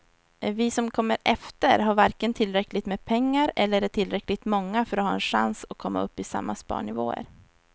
Vi som kommer efter har varken tillräckligt med pengar eller är tillräckligt många för att ha en chans att komma upp i samma sparnivåer.